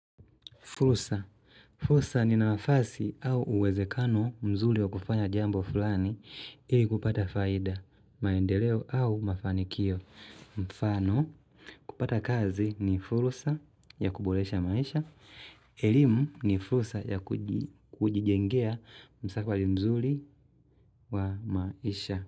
Fursa fursa ni nafasi au uwezekano mzuri wa kufanya jambo fulani ili kupata faida, maendeleo au mafanikio. Mfano, kupata kazi ni fursa ya kuboresha maisha. Elimu ni fursa ya kujijengea msafari mzuri wa maisha.